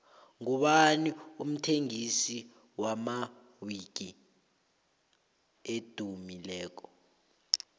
ngubani umthengisi wamawiki edumileko